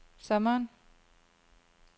sommeren